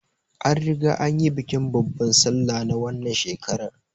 An riga an yi bikin babbar sallah na wannan shekarar